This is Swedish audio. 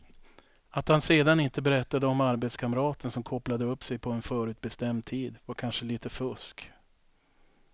Att han sedan inte berättade om arbetskamraten som kopplade upp sig på en förutbestämd tid var kanske lite fusk.